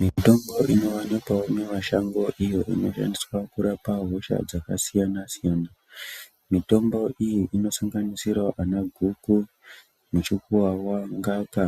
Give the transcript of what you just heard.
Mitombo inowanikwa mumashango iyo inoshandiswa kurapa hosha dzakasiyana siyana mitombo iyi inosanganisirawo guku muchukuwawa ngaka